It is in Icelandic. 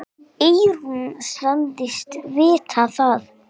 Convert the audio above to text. Eyrún sagðist vita það.